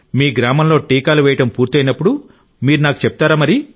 మీ గ్రామంలో టీకాలు వేయడం పూర్తయినప్పుడు మీరు నాకు చెప్తారా